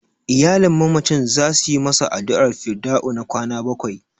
Iyalin mamacin za su yi masa addu'ar fidda'u na kwana bakwai.